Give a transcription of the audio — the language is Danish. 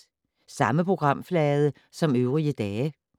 Samme programflade som øvrige dage